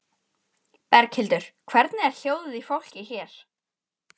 Berghildur: Hvernig er hljóðið í fólki hér?